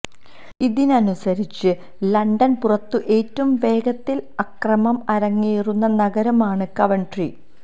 ഇതനുസരിച്ചു London പുറത്തു ഏറ്റവും വേഗത്തില് അക്രമം അരങ്ങേറുന്ന നഗരമാണ് കവന്ട്രി